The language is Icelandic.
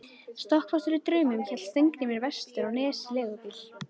Stokkfastur í draumnum hélt Steingrímur vestur á Nes í leigubíl.